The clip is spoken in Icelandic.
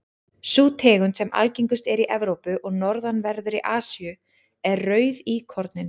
sú tegund sem algengust er í evrópu og norðanverðri asíu er rauðíkorninn